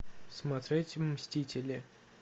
смотреть мстители